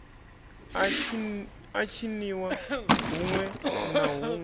a tshiniwa huṋwe na huṋwe